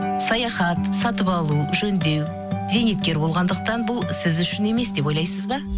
саяхат сатып алу жөндеу зейнеткер болғандықтан бұл сіз үшін емес деп ойлайсыз ба